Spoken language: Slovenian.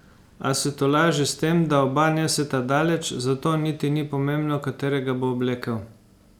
A se tolaži s tem, da oba neseta daleč, zato niti ni pomembno, katerega bo oblekel.